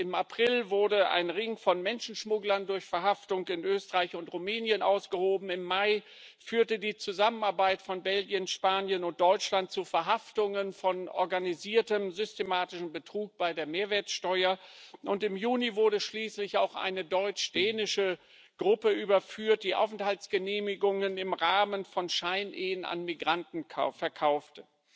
Im April wurde ein Ring von Menschenschmugglern durch Verhaftung in Österreich und Rumänien ausgehoben, im Mai führte die Zusammenarbeit von Belgien, Spanien und Deutschland zu Verhaftungen in Fällen von organisiertem systematischen Betrug bei der Mehrwertsteuer, und im Juni wurde schließlich auch eine deutsch dänische Gruppe überführt, die Aufenthaltsgenehmigungen im Rahmen von Scheinehen an Migranten verkaufte.